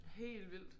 Helt vildt